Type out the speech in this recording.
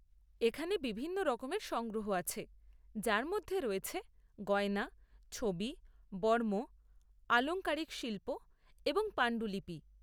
এখানে বিভিন্ন রকমের সংগ্রহ আছে যার মধ্যে রয়েছে গয়না, ছবি, বর্ম, আলংকারিক শিল্প এবং পাণ্ডুলিপি।